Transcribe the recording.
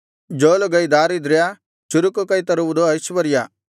ಜೋಲುಗೈ ದಾರಿದ್ರ್ಯ ಚುರುಕು ಕೈ ತರುವುದು ಐಶ್ವರ್ಯ